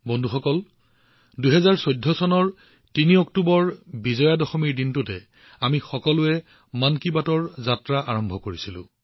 বন্ধুসকল ২০১৪ চনক অক্টোবৰৰ ৩ তাৰিখে বিজয়া দশমীৰ উৎসৱ আছিল আৰু আমি সকলোৱে একেলগে বিজয়া দশমীৰ দিনা মন কী বাতৰ যাত্ৰা আৰম্ভ কৰিছিলো